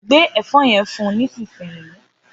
Gbé ẹ̀fọ́ yen fún nísinsìnyí